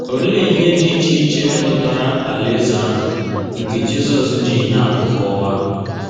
Olee ihe dị iche iche metụtara Alaeze ahụ nke Jizọs ji ihe atụ kọwaa?